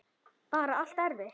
Sunna: Bara allt eftir?